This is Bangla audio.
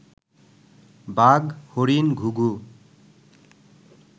বাঘ, হরিণ, ঘুঘু